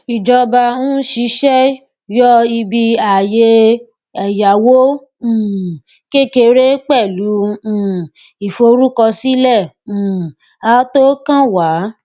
ìjọba ń ṣiṣẹ yọ ibi ààyè ẹyáwó um kékeré pẹlú um ìforúkọsílẹ um àtọkànwá